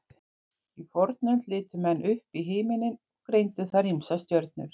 Í fornöld litu menn upp í himinninn og greindu þar ýmsar stjörnur.